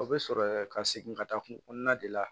O bɛ sɔrɔ ka segin ka taa kungo kɔnɔna de la